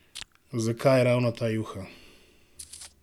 Zakaj ravno ta juha?